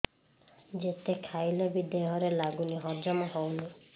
ଯେତେ ଖାଇଲେ ବି ଦେହରେ ଲାଗୁନି ହଜମ ହଉନି